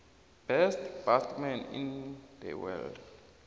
best batsman in the world